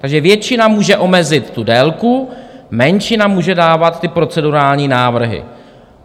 Takže většina může omezit tu délku, menšina může dávat ty procedurální návrhy.